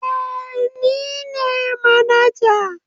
Eh ni ne manaja.